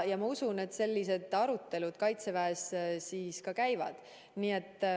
Ma usun, et sellised arutelud Kaitseväes käivad.